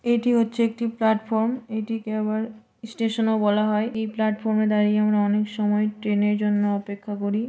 এইটি হচ্ছে একটি প্লাটফর্ম এটিকে আবার স্টেশন ও বলা হয় এই প্ল্যাটফর্ম এ দাঁড়িয়ে আমরা অনেক সময় ট্রেনের এর জন্য অপেক্ষা করি।